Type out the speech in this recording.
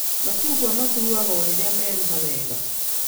Macungwa matuagwo rĩrĩa meruha wega